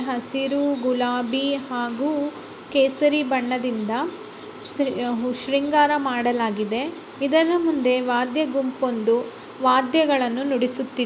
ಹಸಿರು ಗುಲಾಬಿ ಮತ್ತೆ ಕೇಸರಿ ಬಣ್ಣದಿಂದ ಶೃಂಗಾರ ಮಾಡಲಾಗಿದೆ. ಮತ್ತು ಇದರ ಮುಂದೆ ವಾದ್ಯ ಗುಂಪು ಒಂದು ವಾದ್ಯ ನುಡಿಸುತ್ತಿದೆ.